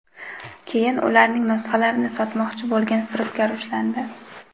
keyin ularning nusxalarini sotmoqchi bo‘lgan firibgar ushlandi.